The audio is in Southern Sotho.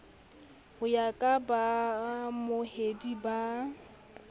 ho ya ka baamohedi ba